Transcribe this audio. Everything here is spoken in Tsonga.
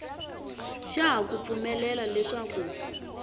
xa ha ku pfumelela leswaku